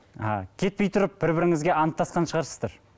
а кетпей тұрып бір біріңізге анттасқан шығарсыздар